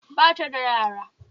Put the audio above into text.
Ba ta da yara